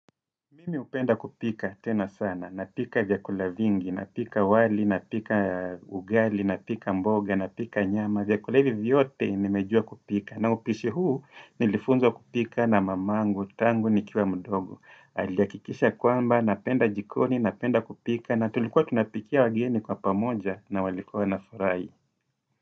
Mimi hupenda kupika tena sana, napika vyakula vingi, napika wali, napika ugali, napika mboga, napika nyama, vyakula hivi vyote nimejua kupika na upishi huu nilifunzwa kupika na mamangu, tangu nikiwa mdogo Alihakikisha kwamba, napenda jikoni, napenda kupika na tulikuwa tunapikia wageni kwa pamoja na walikuwa wanafurahi.